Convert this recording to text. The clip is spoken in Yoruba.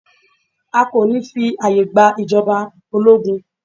A kò ní fí ààyè gba ìjọba ológun.